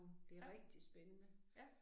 Ja. Ja